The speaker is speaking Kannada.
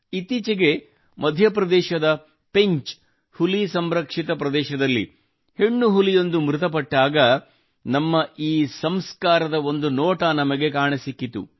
ಇತ್ತೀಚಿಗೆ ಮಧ್ಯಪ್ರದೇಶದ ಪೆಂಚ್ ಹುಲಿ ಸಂರಕ್ಷಿತ ಪ್ರದೇಶದಲ್ಲಿ ಹೆಣ್ಣು ಹುಲಿಯೊಂದು ಮೃತಪಟ್ಟಾಗ ನಮ್ಮ ಈ ಸಂಸ್ಕಾರದ ಒಂದು ನೋಟ ನಮಗೆ ಕಾಣಸಿಕ್ಕಿತು